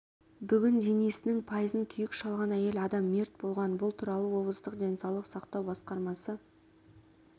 бүгін денесінің пайызын күйік шалған әйел адам мерт болған бұл туралы облыстық денсаулық сақтау басқармасы